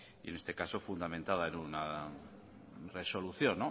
y en este caso fundamentada en una resolución